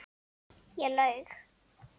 Ég laug.